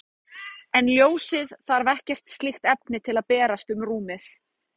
En ljósið þarf ekkert slíkt efni til að berast um rúmið.